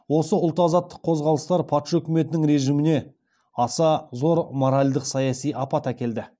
осы ұлт азаттық қозғалыстар патша өкіметінің режіміне аса зор моральдық саяси апат әкелді